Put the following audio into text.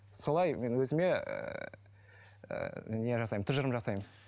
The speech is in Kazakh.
солай мен өзіме ыыы не жасаймын тұжырым жасаймын